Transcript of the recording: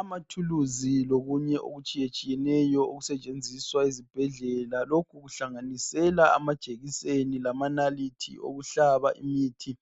Amathuluzi lokunye okutshiye tshiyeneyo okusetshenziswa ezibhedlela lokhu kuhlanganisela amajekiseni lamanalithi okuhlaba imithi